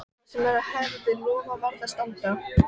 Það sem maður hafði lofað varð að standa.